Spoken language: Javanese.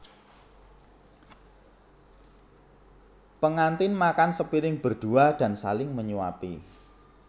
Pengantin makan sepiring berdua dan saling menyuapi